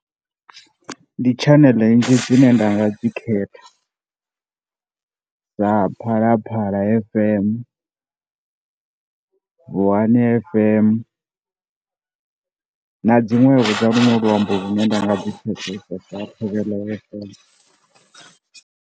Ndi tshaneḽe nnzhi dzine ndanga dzi khetha sa Phalaphala F_M, Vuwani F_M na dzinwevho dza lunwe luambo lune ndanga lu pfesesa sa Thobela F_M.